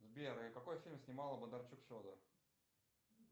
сбер а какой фильм снимал бондарчук федор